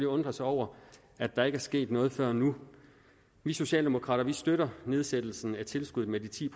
undre sig over at der ikke er sket noget før nu vi socialdemokrater støtter nedsættelsen af tilskuddet med de ti